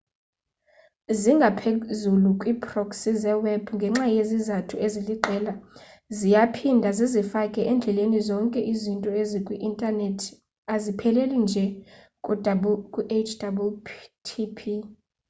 zingaphezulu kwii-proxy zeweb ngenxa yezizathu eziliqela ziyaphinda zizifake endleleni zonke izinto ezikwi-intanethi azipheleli nje ku-http